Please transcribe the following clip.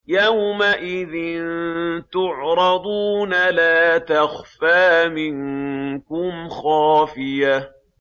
يَوْمَئِذٍ تُعْرَضُونَ لَا تَخْفَىٰ مِنكُمْ خَافِيَةٌ